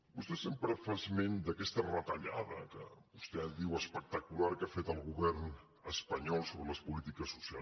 vostè sempre fa esment d’aquesta retallada que vostè ara diu espectacular que ha fet el govern espanyol sobre les polítiques socials